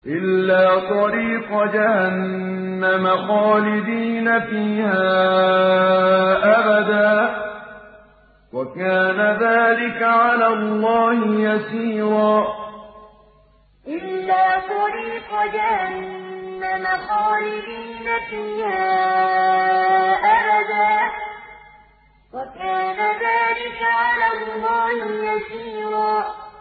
إِلَّا طَرِيقَ جَهَنَّمَ خَالِدِينَ فِيهَا أَبَدًا ۚ وَكَانَ ذَٰلِكَ عَلَى اللَّهِ يَسِيرًا إِلَّا طَرِيقَ جَهَنَّمَ خَالِدِينَ فِيهَا أَبَدًا ۚ وَكَانَ ذَٰلِكَ عَلَى اللَّهِ يَسِيرًا